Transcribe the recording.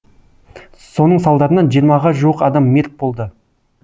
соның салдарынан жиырмаға жуық адам мерт болды